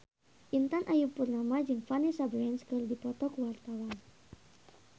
Intan Ayu Purnama jeung Vanessa Branch keur dipoto ku wartawan